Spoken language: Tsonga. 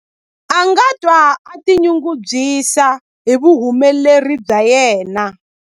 A nga twa a tinyungubyisa hi vuhumeleri bya yena.